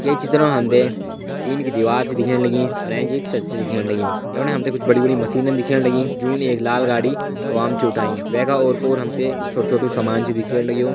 ये चित्र मा हमते टीन की दिवार छ दिखेण लगीं अर एंच एक छत छ दिखेण लगीं यफणा हमते कुछ बड़ी-बड़ी मशीनन दिखेण लगि जून एक लाल गाड़ी हवाम छ ऊठाईं वैका ओर पोर हमते कुछ छोटु छोटु सामान छ दिखेण लग्युं।